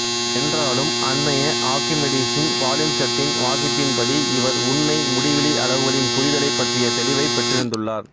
என்றாலும் அன்மைய ஆர்க்கிமெடீசு பாலிம்ப்செட்டின் வாசிப்பின்படி இவர் உண்மை முடிவிலி அளவுகளின் புரிதலைப் பற்றிய தெளிவைப் பெற்றிருந்துள்ளார்